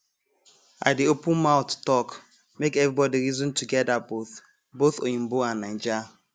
i dey open mouth talk make everybody reason together both both oyinbo and naija